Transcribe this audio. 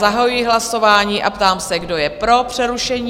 Zahajuji hlasování a ptám se, kdo je pro přerušení?